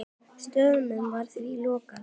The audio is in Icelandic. Staðnum var því lokað.